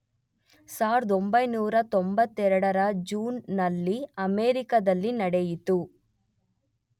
1992 ರ ಜೂನ್ ನಲ್ಲಿ ಅಮೇರಿಕದಲ್ಲಿ ನೆಡೆಯಿತು